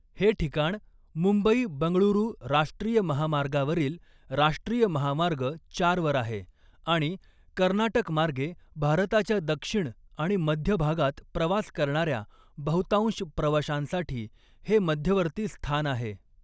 हे ठिकाण मुंबई बंगळुरू राष्ट्रीय महामार्गावरील राष्ट्रीय महामार्ग चार वर आहे आणि कर्नाटक मार्गे भारताच्या दक्षिण आणि मध्य भागात प्रवास करणाऱ्या बहुतांश प्रवाशांसाठी हे मध्यवर्ती स्थान आहे.